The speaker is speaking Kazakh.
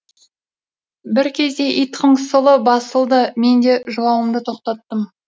бір кезде ит қыңсылы басылды мен де жылауымды тоқтаттым